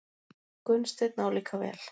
Gunnsteinn álíka vel.